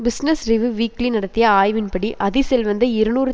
business Review Weekly நடத்திய ஆய்வின்படி அதி செல்வந்த இருநூறு